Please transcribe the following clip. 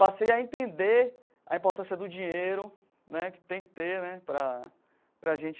Passei a entender a importância do dinheiro, né que tem que ter né para para a gente